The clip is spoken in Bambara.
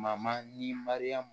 Mama ni mariyamu